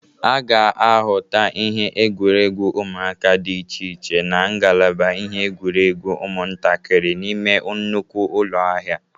A ga-ahụta ihe egwuregwu ụmụaka dị iche iche na ngalaba ihe igwuregwu ụmụntakịrị n'ime nnukwu ụlọ ahịa.